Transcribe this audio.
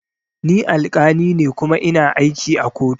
Ni alkali ne kuma ina aiki a kotu